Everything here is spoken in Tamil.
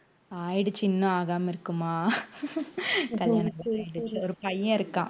ஆயிடுச்சு இன்னும் ஆகாம இருக்குமா கல்யாணம் ஆயிடுச்சி ஒரு பையன் இருக்கான்